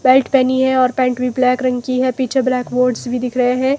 Belt पेहनी है और पैंट भी ब्लैक रंग की है पीछे ब्लैक बोर्ड्स भी दिख रहे हैं।